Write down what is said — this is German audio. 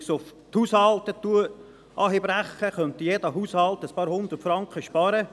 Wenn ich es auf die Haushalte herunterbreche, könnte jeder Haushalt einige Hundert Franken sparen.